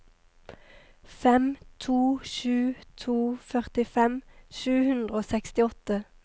fem to sju to førtifem sju hundre og sekstiåtte